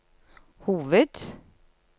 hoved